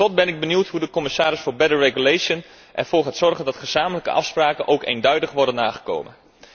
Tot slot ben ik benieuwd hoe de commissaris voor betere regelgeving ervoor gaat zorgen dat gezamenlijke afspraken ook eenduidig worden nagekomen.